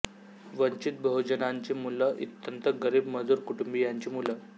वंचित बहुजनांची मुलं अत्यंत गरिब मजुर कुटुंबियांची मुलं